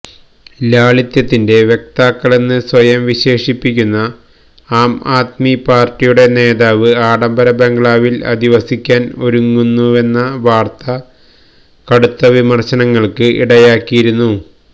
ലാളിത്യത്തിന്റെ വക്താക്കളെന്ന് സ്വയം വിശേഷിപ്പിക്കുന്ന ആംആദ്മി പാര്ട്ടിയുടെ നേതാവ് ആഡംബര ബംഗ്ലാവില് അധിവസിക്കാന് ഒരുങ്ങുന്നുവെന്ന വാര്ത്ത കടുത്ത വിമര്ശനങ്ങള്ക്ക് ഇടയാക്കിയിരുന്നു